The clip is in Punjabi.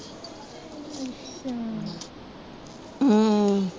ਹਮ